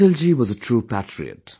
Atalji was a true patriot